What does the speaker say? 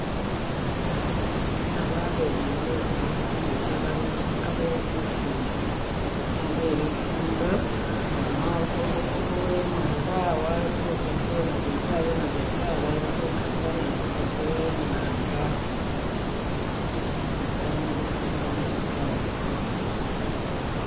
boona aba'abenyayi be kumupila bali abe lifundo abe lifundo boona uwe mwanga alikhukhupa uwa nabinzari uwa nabinzari alikhukazana aruse khuwe mwanga bali mulifundo musisawa.